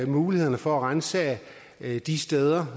mulighederne for at ransage de steder